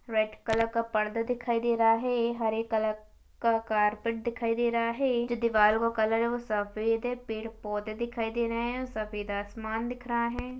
Red colour का पर्दा दिखाई दे रहा है हरे कलर का कारपेट दिखाई दे रहा है जो दीवारों का कलर है वो सफ़ेद है पेड़ पौधे दिखाई दे रहे है सफ़ेद आसमान दिख रहा है।